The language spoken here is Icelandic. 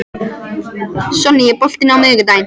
Sonný, er bolti á miðvikudaginn?